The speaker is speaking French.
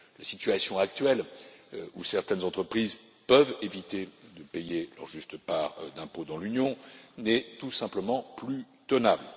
La situation actuelle, dans laquelle certaines entreprises peuvent éviter de payer leur juste part d'impôts dans l'Union, n'est tout simplement plus tenable.